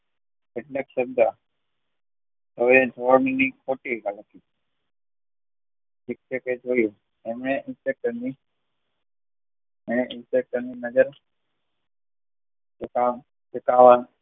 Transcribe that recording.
કેટલાક શબ્દ શિક્ષકે જોયી અન એને ની નજ પોતાના